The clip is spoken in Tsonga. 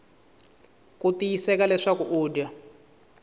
ku tiyiseka leswaku u dya